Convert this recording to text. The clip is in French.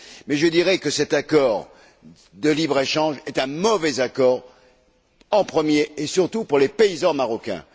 Mais je dirais que cet accord de libre échange est un mauvais accord en premier lieu, et surtout, pour les paysans marocains.